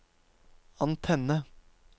antenne